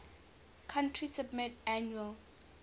country submit annual